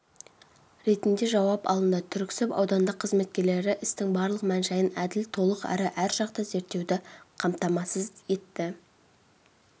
ретінде жауап алынды түрксіб аудандық қызметкерлері істің барлық мән-жайын әділ толық әрі әржақты зерттеуді қамтамасыз